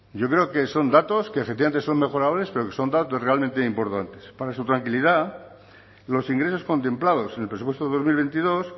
yo creo que son datos que efectivamente son mejorables pero que son datos realmente importantes para su tranquilidad los ingresos contemplados en el presupuesto de dos mil veintidós